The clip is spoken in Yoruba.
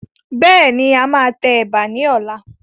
Bẹ́ẹ̀ni, a máa tẹ Ẹ̀bà ni ọ̀la.